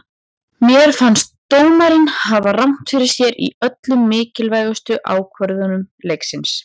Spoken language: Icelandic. Mér fannst dómarinn hafa rangt fyrir sér í öllum mikilvægu ákvörðunum leiksins.